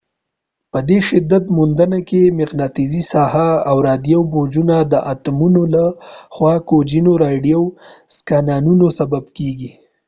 په دي شدت موندنه کې مقناطیسی ساحه او راديوي موجونه د اتومونو له خوا د کوجنیو راديوي سګنالونو سبب کېږی